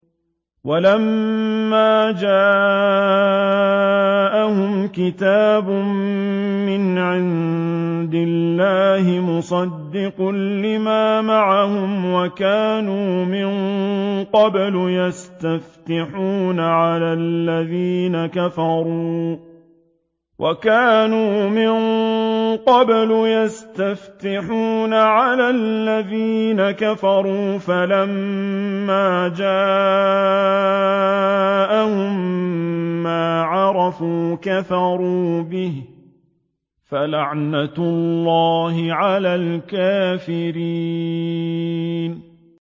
وَلَمَّا جَاءَهُمْ كِتَابٌ مِّنْ عِندِ اللَّهِ مُصَدِّقٌ لِّمَا مَعَهُمْ وَكَانُوا مِن قَبْلُ يَسْتَفْتِحُونَ عَلَى الَّذِينَ كَفَرُوا فَلَمَّا جَاءَهُم مَّا عَرَفُوا كَفَرُوا بِهِ ۚ فَلَعْنَةُ اللَّهِ عَلَى الْكَافِرِينَ